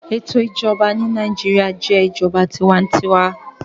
Eto ijọba ti Naijiria jẹ ijọba tiwantiwa